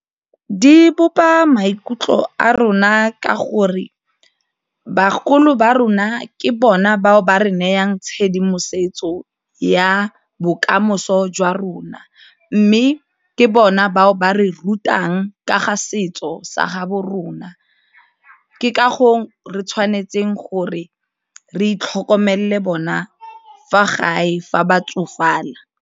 Di bopa maikutlo a rona ka gore bagolo ba rona ke bona bao ba re nayang tshedimosetso ya bokamoso jwa rona, mme ke bona bao ba re rutang ka ga setso sa gaabo rona ke re tshwanetseng gore re itlhokomelele bona fa gae fa ba tsofala.